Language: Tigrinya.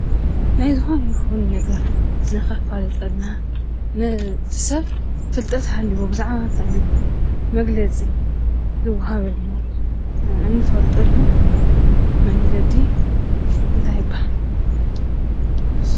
ናይ ዝኾነ ይኹን ነገር ንኸፋልጠልና ን እቱይ ሰብ ፍልጠት ሃልይዎ ብዛዕባ ክንታይ መግለፂ ዝውሃበሉ እንፈልጠሉ መንገዲ እንታይ ይብሃል?